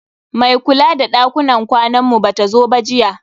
Mai kula da dakunan kwanan mu bata zo ba jiya.